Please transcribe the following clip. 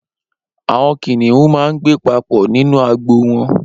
Awọn kiniùn mà n gbé papọ ninú àgbó wọn